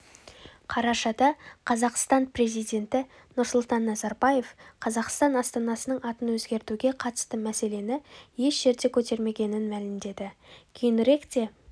қарашада қазақстан президенті нұрсұлтан назарбаев қазақстан астанасының атын өзгертуге қатысты мәселені еш жерде көтермегенін мәлімдеді кейініректе